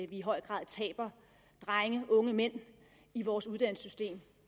i høj grad taber drenge og unge mænd i vores uddannelsessystem